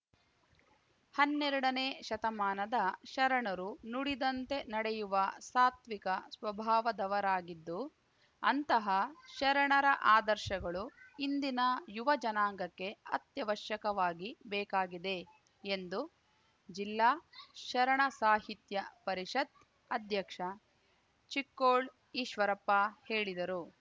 ಹನ್ನೆರಡನೇ ಶತಮಾನದ ಶರಣರು ನುಡಿದಂತೆ ನಡೆಯುವ ಸಾತ್ವಿಕ ಸ್ವಭಾವದವರಾಗಿದ್ದು ಅಂತಹ ಶರಣರ ಆದರ್ಶಗಳು ಇಂದಿನ ಯುವ ಜನಾಂಗಕ್ಕೆ ಅತ್ಯವಶ್ಯಕವಾಗಿ ಬೇಕಾಗಿದೆ ಎಂದು ಜಿಲ್ಲಾ ಶರಣ ಸಾಹಿತ್ಯ ಪರಿಷತ್‌ ಅಧ್ಯಕ್ಷ ಚಿಕ್ಕೋಳ್‌ ಈಶ್ವರಪ್ಪ ಹೇಳಿದರು